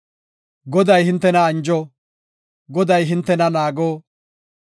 “ ‘Goday hintena anjo, Goday hintena naago;